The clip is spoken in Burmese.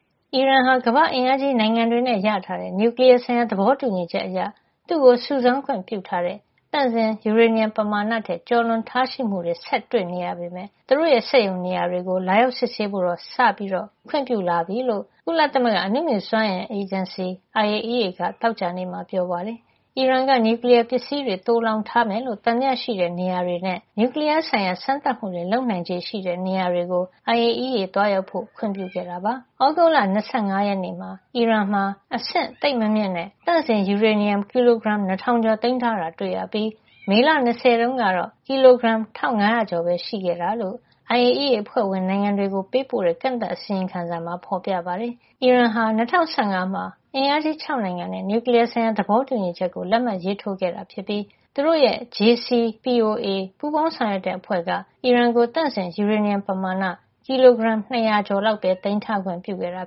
အီရန်ဟာ ကမ္ဘာ့အင်အားကြီး နိုင်ငံတွေနဲ့ရရှိထားတဲ့ နျူကလီယားဆိုင်ရာ သဘောတူညီချက်အရ သူ့ကိုစုဆောင်းခွင့်ပြုထားတဲ့ သန့်စင်ယူရေနီယံပမာဏထက် ကျော်လွန်ထားရှိမှု ဆက်တွေ့နေရပေမယ့် သူတို့ရဲ့ စက်ရုံနေရာတွေကို လာရောက်စစ်ဆေးဖို့တော့ စပြီးခွင့်ပြုလာပြီလို့ ကုလသမဂ္ဂ အနုမြူစွမ်းအင်ဆိုင်ရာ အဖွဲ့ IAEA က သောကြာနေ့မှာ ပြောပါတယ်။ အီရန်က နျူကလီယား ပစ္စည်းတွေ သိုလှောင်ထားမယ်လို့ သံသယ ရှိတဲ့နေရာတွေ နဲ့ နျူကလီယားဆိုင်ရာ စမ်းသပ်မှုတွေ လုပ်နိုင်ခြေရှိတဲ့ နေရာတွေကို IAEA သွားရောက်ဖို့ အတွက် အီရန်က ခွင့်ပြုခဲ့တာပါ။ သြဂုတ်လ ၂၅ ရက်နေ့မှာ အီရန်မှာ အဆင့်သိပ်မမြင့်တဲ့ သန့်စင်ယူရေနီယံ ကီလိုဂရမ် ၂၀၀၀ ကျော်သိမ်းထားတာ တွေ့ရပြီး မေလ ၂၀ တုန်းကတော့ ကီလိုဂရမ် ၁၅၀၀ ကျော်ပဲ ရှိတယ်လို့ IAEA က အဖွဲ့ဝင်နိုင်ငံတွေကို ပေးပို့တဲ့ ကန့်သတ် အစီရင်ခံစာမှာ ဖေါ်ပြထားပါတယ်။ အီရန်ဟာ ၂၀၁၅ ခုနှစ်မှာ အမေရိကန်၊ ဂျာမဏီ၊ ပြင်သစ်၊ ဗြိတိန်၊ တရုတ်နဲ့ ရုရှား အင်အားကြီး ၆ နိုင်ငံနဲ့ နျူကလီယားဆိုင်ရာ သဘောတူညီချက်ကို လက်မှတ်ရေးထိုးခဲ့ပြီး သူတို့ရဲ့ JCPOA ပူးပေါင်းဆောင်ရွက်တဲ့ အဖွဲ့က အီရန်ကို သန့်စင်ယူရေနီယံ ပမာဏ ကီလိုဂရမ် ၂၀၀ ကျော်လောက်ပဲ သိမ်းထားခွင့် ပြုခဲ့တာ